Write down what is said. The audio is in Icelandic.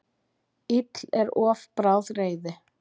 Ill er of bráð reiði.